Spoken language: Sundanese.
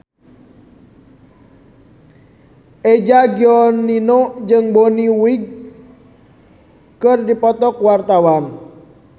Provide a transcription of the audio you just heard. Eza Gionino jeung Bonnie Wright keur dipoto ku wartawan